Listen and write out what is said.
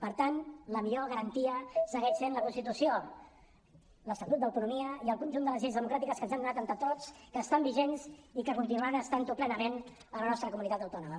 per tant la millor garantia segueix sent la constitució l’estatut d’autonomia i el conjunt de les lleis democràtiques que ens hem donat entre tots que estan vigents i que continuaran estant ho plenament a la nostra comunitat autònoma